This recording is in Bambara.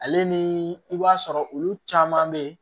Ale ni i b'a sɔrɔ olu caman bɛ yen